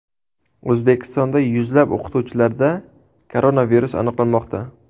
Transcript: O‘zbekistonda yuzlab o‘qituvchilarda koronavirus aniqlanmoqda.